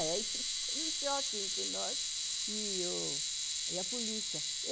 Aí teve o choque entre nós e a polícia.